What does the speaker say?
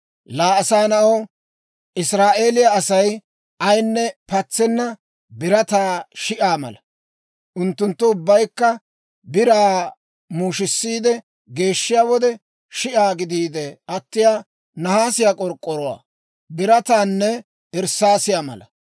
«Laa asaa na'aw, Israa'eeliyaa Asay ayinne patsenna birataa shi'aa mala; unttunttu ubbaykka biraa muushisiide geeshshiyaa wode, shi'aa gidiide attiyaa nahaasiyaa, k'ork'k'oruwaa, birataanne irssaasiyaa mala.